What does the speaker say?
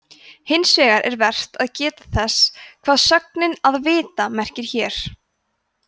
hins vegar er vert að geta þess hvað sögnin „að vita“ merkir hér